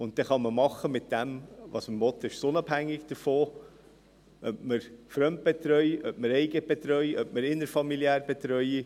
Dann kann man damit machen, was man will, und es ist davon unabhängig, ob man fremdbetreut, eigenbetreut oder innerfamiliär betreut.